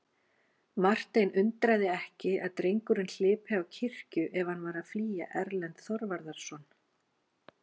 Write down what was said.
Martein undraði ekki að drengurinn hlypi á kirkju ef hann var að flýja Erlend Þorvarðarson.